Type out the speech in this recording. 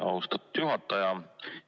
Austatud juhataja!